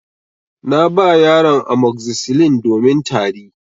Na ba yaran amoxicillin domin Tari.